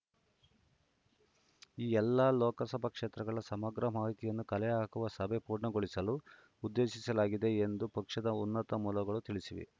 ಈ ಎಲ್ಲ ಲೋಕಸಭಾ ಕ್ಷೇತ್ರಗಳ ಸಮಗ್ರ ಮಾಹಿತಿಯನ್ನು ಕಲೆಹಾಕುವ ಸಭೆ ಪೂರ್ಣಗೊಳಿಸಲು ಉದ್ದೇಶಿಸಲಾಗಿದೆ ಎಂದು ಪಕ್ಷದ ಉನ್ನತ ಮೂಲಗಳು ತಿಳಿಸಿವೆ